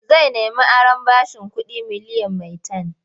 Zai nemi aron bashin kuɗi miliyan maitan.